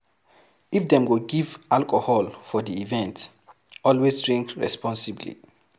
If dem go give alcohol for di event, always drink responsibly